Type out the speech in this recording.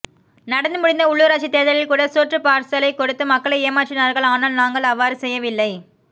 நடந்து முடிந்த உள்ளுராட்சி தேர்தலில் கூட சோற்றுப்பார்சலை கொடுத்து மக்களை ஏமாற்றினார்கள் ஆனால் நாங்கள் அவ்வாறு செய்யவில்லை